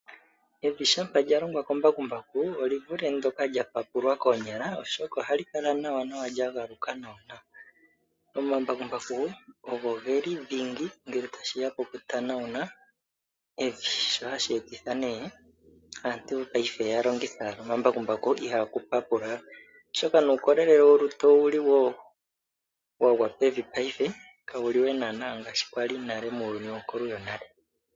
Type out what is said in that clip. Evi shampa lya longwa kembakumbaku oli vule ndyoka lya papulwa koonyala, oshoka ohali kala nawa lya galuka nawanawa. Omambakumbaku ogo dhingi ngele tashi ya pokutanauna evi, shoka hashi etitha aantu ya longithe owala omambakumbaku ihaaku papulwa we, oshoka nuukolele wolutu owu li wo wa gwa pevi paife kawu li we ngaashi wa li muuyuni wonkulu yonale.